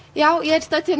já ég er stödd